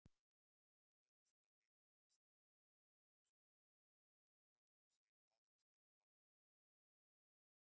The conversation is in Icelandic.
Tvö þessara litamynstra, fyrir hvítu og svörtu, hafa hvort um sig aðeins ein áhrif.